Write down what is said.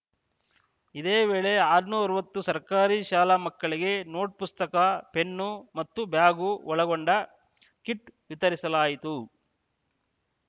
ಇದೇ ವೇಳೆ ಆರುನೂರ್ ಅರವತ್ತು ಸರ್ಕಾರಿ ಶಾಲಾ ಮಕ್ಕಳಿಗೆ ನೋಟ್‌ಪುಸ್ತಕ ಪೆನ್ನು ಮತ್ತು ಬ್ಯಾಗ್‌ ಒಳಗೊಂಡ ಕಿಟ್‌ ವಿತರಿಸಲಾಯಿತು